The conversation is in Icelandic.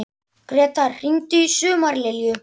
Gretar, hringdu í Sumarlilju.